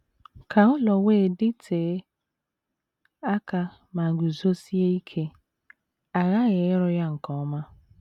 Ka ụlọ wee dịtee aka ma guzosie ike, a ghaghị ịrụ ya nke ọma.